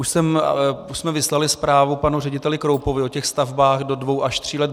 Už jsme vyslali zprávu panu řediteli Kroupovi o těchto stavbách do dvou až tří let.